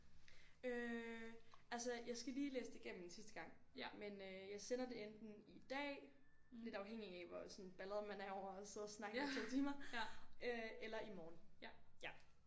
Øh altså jeg skal lige læse det igennem en sidste gang men øh jeg sender det enten i dag lidt afhængig af hvor sådan baldret man er over at sidde og snakke i 2 timer øh eller i morgen ja